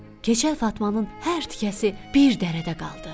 Keçəl Fatmanın hər tikəsi bir dərədə qaldı.